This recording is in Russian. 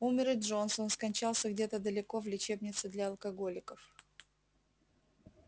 умер и джонс он скончался где-то далеко в лечебнице для алкоголиков